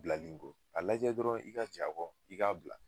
Bilali in kɔ, a lajɛ dɔrɔn i ka jɛn a kɔ, i k'a bila.